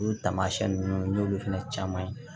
Olu taamasiyɛn ninnu n'olu fana caman ye